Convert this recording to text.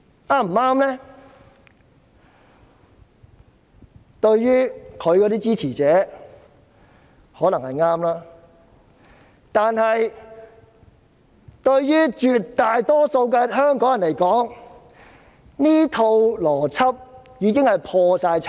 她的支持者或許認為是正確的，但對於絕大多數香港人而言，她的這套邏輯已破產。